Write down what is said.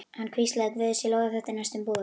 Hann hvíslaði: Guði sé lof að þetta er næstum búið.